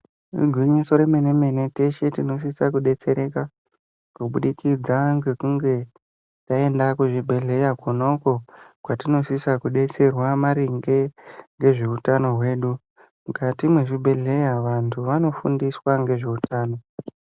Igwinyiso remene-mene, teshe tinosisa kudetsereka kubudikidza ngekunge taenda kuzvibhedhleya kona uko kwatinosisa kudetserwa maringe ngezveutano hwedu. Mukati mezvibhedhleya vantu vanofundiswa ngezveutano.